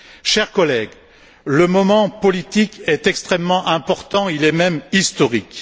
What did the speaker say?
Chers collègues, le moment politique est extrêmement important, il est même historique.